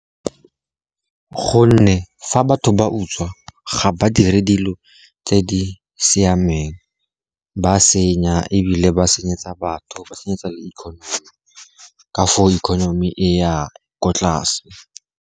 Gonne fa batho ba utswa, ga ba dire dilo tse di siameng, ba senya ebile ba senyetsa batho, ba senyetsa le economy ka foo economy e ya kwa tlase.